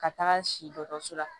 Ka taga si dɔgɔtɔrɔso la